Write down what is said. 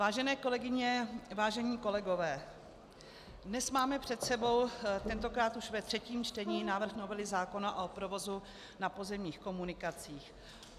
Vážené kolegyně, vážení kolegové, dnes máme před sebou tentokrát už ve třetím čtení návrh novely zákona o provozu na pozemních komunikacích.